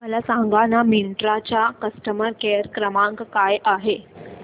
मला सांगाना मिंत्रा चा कस्टमर केअर क्रमांक काय आहे